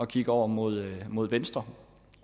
kigger over mod mod venstre